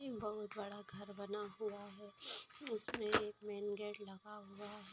बहुत बड़ा घर बना हुआ है उसमे एक मेन गेट लगा हुआ है।